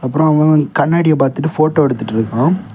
அப்புறம் அவன் கண்ணாடிய பாத்துட்டு போட்டோ எடுத்துட்டு இருக்கான்.